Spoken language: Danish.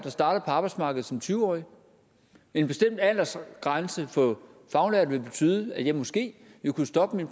og startede på arbejdsmarkedet som tyve årig en bestemt aldersgrænse for faglærte ville betyde at jeg måske vil kunne stoppe